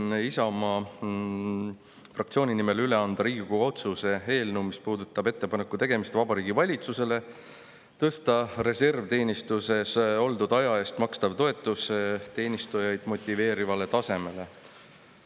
Soovin Isamaa fraktsiooni nimel üle anda Riigikogu otsuse eelnõu, mis puudutab ettepaneku tegemist Vabariigi Valitsusele tõsta reservteenistuses oldud aja eest makstav toetus teenistujaid motiveerivale tasemele.